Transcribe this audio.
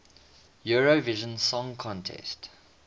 eurovision song contest